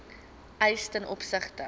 eis ten opsigte